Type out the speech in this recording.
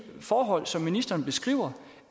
forhold som ministeren beskriver